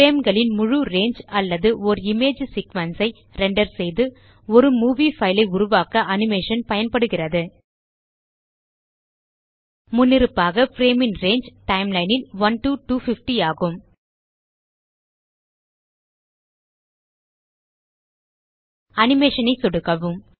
frameகளின் முழு ரங்கே அல்லது ஓர் இமேஜ் சீக்வென்ஸ் ஐ ரெண்டர் செய்து ஒரு மூவி பைல் ஐ உருவாக்க அனிமேஷன் பயன்படுகிறது முன்னிருப்பாக பிரேம் ன் ரங்கே டைம்லைன் ல் 1 டோ 250 ஆகும் அனிமேஷன் ஐ சொடுக்கவும்